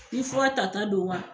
Ni fura tata don wa